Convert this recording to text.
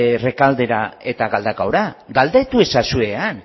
errekaldera eta galdakaora galdetu ezazue han